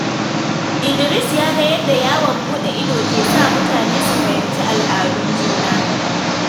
Idris ya ga yadda yawon buɗe ido ke sa mutane su fahimci al'adun juna.